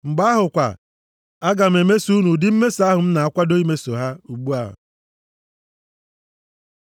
Mgbe ahụ kwa, aga m emeso unu ụdị mmeso ahụ m na-akwado imeso ha ugbu a.’ ”